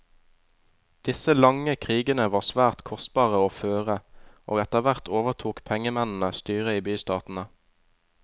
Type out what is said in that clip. Disse lange krigene var svært kostbare å føre, og etterhvert overtok pengemennene styret i bystatene.